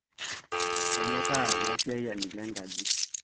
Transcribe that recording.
Kayieta lasiayiani lenkaji